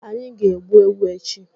Anyị ga-egbu ewu echi.